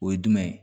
O ye jumɛn ye